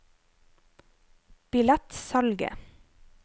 billettsalget